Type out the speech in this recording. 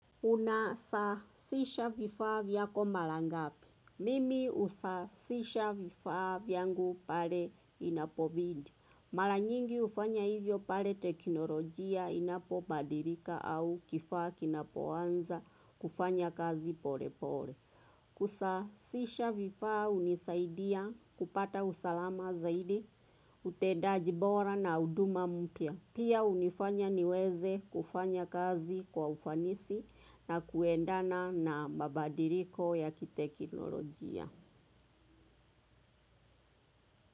Unasasisha vifaa vyako mara ngapi. Mimi husasisha vifaa vyangu pale inapobidi. Mara nyingi hufanya hivyo pale teknolojia inapobadirika au kifaa kinapoanza kufanya kazi pore pore. Kusasisha vifaa hunisaidia kupata usalama zaidi, utendaji bora na huduma mpya. Pia hunifanya niweze kufanya kazi kwa ufanisi na kuendana na mabadiriko ya kitekinolojia.